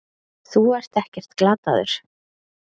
Þú ert ekkert glataður.